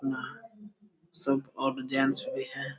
यहाँ सब अब जेंट्स पे है।